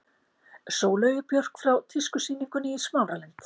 Sóleyju Björk frá tískusýningunni í Smáralind.